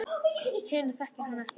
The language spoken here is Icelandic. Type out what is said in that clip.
Hina þekkir hann ekki.